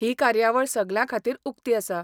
ही कार्यावळ सगल्यां खातीर उकती आसा.